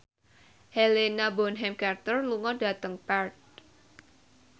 Helena Bonham Carter lunga dhateng Perth